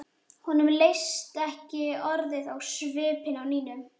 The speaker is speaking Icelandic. Honum leist ekki orðið á svipinn á Nínu.